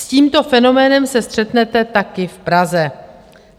S tímto fenoménem se střetnete také v Praze.